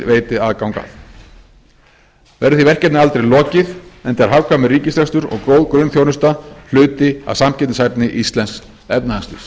veiti aðgang að verður því verkefni aldrei lokið enda er hagkvæmur ríkisrekstur og góð grunnþjónusta hluti af samkeppnishæfni íslensks efnahagslífs